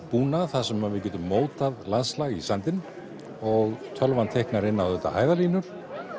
búnað þar sem við getum mótað landslag í sandinn og tölvan teiknar inn á þetta hæðarlínur